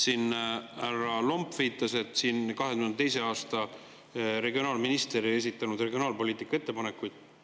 Härra Lomp viitas, et 2022. aastal ei esitanud regionaalminister regionaalpoliitika kohta ettepanekuid.